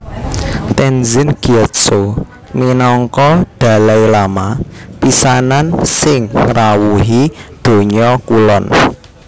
Tenzin Gyatso minangka Dalai Lama pisanan sing ngrawuhi Donya Kulon